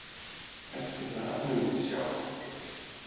Eftir það munum við sjá hvað gerist.